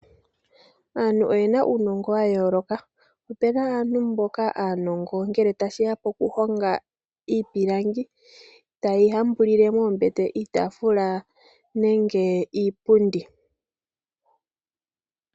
Aantu oyena uunongo wa yooloka. Ope na aantu mboka aanongo ngele tashi ya pokuhonga iipilangi. Taye yi hambulile moombete, iitafula nenge iipundi.